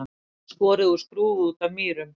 Skorið úr skrúfu út af Mýrum